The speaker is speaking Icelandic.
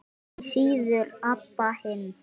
Því síður Abba hin.